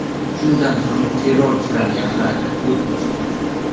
Shundan so‘ng, terrorchilarga qarata o‘t ochgan.